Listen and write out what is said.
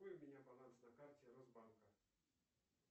какой у меня баланс на карте росбанка